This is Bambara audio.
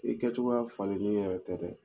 I kɛcogoya falen ni yɛrɛ tɛ dɛ